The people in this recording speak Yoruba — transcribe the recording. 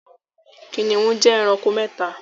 Kìnìún jẹ ẹranko mẹ́ta